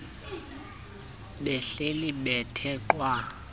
behleli bethe qwa